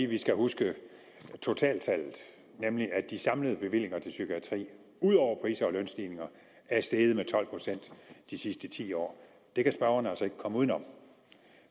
vi skal huske totaltallet nemlig at de samlede bevillinger til psykiatrien ud over pris og lønstigninger er steget med tolv procent de sidste ti år det kan spørgeren altså ikke komme uden om